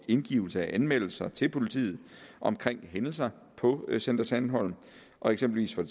indgivelse af anmeldelser til politiet om hændelser på center sandholm og eksempelvis for